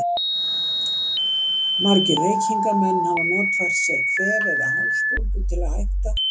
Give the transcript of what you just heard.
Margir reykingamenn hafa notfært sér kvef eða hálsbólgu til að hætta.